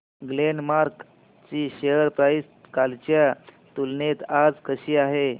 Glenmark ची share price कालच्या तुलनेत आज कशी आहे